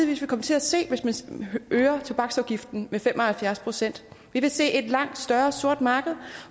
vil komme til at se hvis man øger tobaksafgiften med fem og halvfjerds procent vi vil se et langt større sort marked